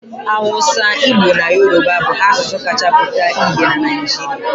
Awụsa, Igbo na Yoruba bụ asụsụ kacha pụta ìhè na Naịjirịa.